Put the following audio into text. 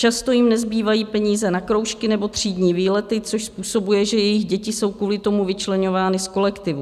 Často jim nezbývají peníze na kroužky nebo třídní výlety, což způsobuje, že jejich děti jsou kvůli tomu vyčleňovány z kolektivu.